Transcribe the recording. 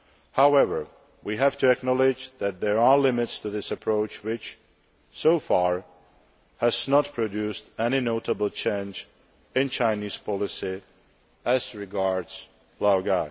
However, we have to acknowledge that there are limits to this approach which, so far, has not produced any notable change in Chinese policy as regards Laogai.